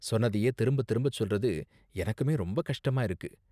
சொன்னதையே திரும்ப திரும்ப சொல்றது எனக்குமே ரொம்ப கஷ்டமா இருக்கு.